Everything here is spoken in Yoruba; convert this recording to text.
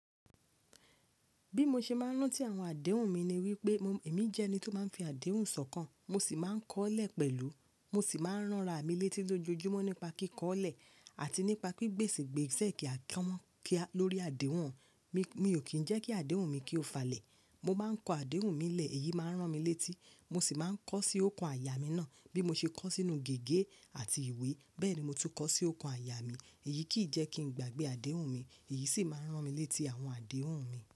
Bí mo ṣe máa ń rántí àwọn àdéhùn mi ni wípé èmi jẹ́ ẹni tó máa ń fi àdéhùn sọkàn, mo sì máa ń kọ́lẹ̀ pẹ̀lú, mo sì máa ń ránra mi létí lójoojúmọ́ nípa kíkọlẹ̀ àti nípa pípèsè ìgbésẹ̀ kí a kọ́ wọn lórí àdéhùn wọn. Mi ò kì í jẹ́ kí àdéhùn mi kí ó falẹ̀. Mo bá ń kọ àdéhùn mi lẹ̀, èyí máa ń rán mi létí. Mo sì máa ń kọ sí okan àyà mi náà bí mo ṣe kọ sínú gègé àti ìwé. Bẹ́ẹ̀ ni mo tún kọ sí oko àyà mi. Èyí kì í jẹ́ kí n gbàgbé àdéhùn mi, èyí sì máa ń rán mi létí àwọn àdéhùn mi.